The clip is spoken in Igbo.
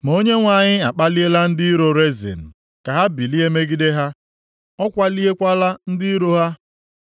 Ma Onyenwe anyị a kpaliela ndị iro Rezin + 9:11 Ndị iro Rezin bụ ndị Siria, Filistia, Tiglat-Pilesa na ndị agha ya so buso Izrel agha. ka ha bilie megide ha, ọ kwaliekwala ndị iro ha.